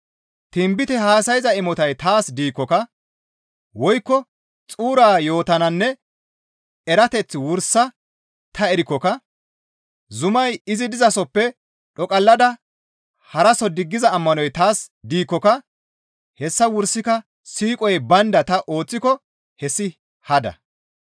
Tinbite haasayza imotay taas diikkoka, woykko xuura yo7otanne erateth wursa ta erikkoka, zumay izi dizasoppe dhoqallada haraso diggiza ammanoy taas diikkoka hessa wursaka siiqoy baynda ta ooththiko hessi hada.